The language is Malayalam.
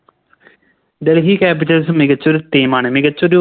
Delhi capitals മികച്ചൊരു Team ആണ് മികച്ചൊരു